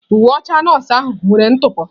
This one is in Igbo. Uwe ọcha nọọsụ ahụ nwere ntụpọ.